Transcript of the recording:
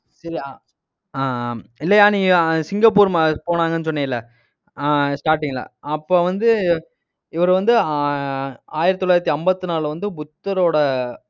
அஹ் ஆஹ் ஆஹ் இல்லையா நீ சிங்கப்பூர் போனாங்கன்னு சொன்னியில்ல ஆஹ் starting ல அப்ப வந்து இவரு வந்து ஆஹ் ஆயிரத்தி தொள்ளாயிரத்தி ஐம்பத்தி நாலுல வந்து, புத்தரோட